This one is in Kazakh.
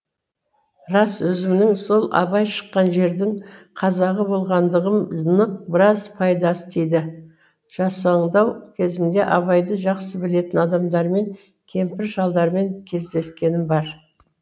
рас өзімнің сол абай шыққан жердін қазағы болғандығым нық біраз пайдасы тиді жасаңдау кезімде абайды жақсы білетін адамдармен кемпір шалдармен кездескенім бар